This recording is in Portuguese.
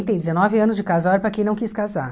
dezenove anos de casório para quem não quis casar.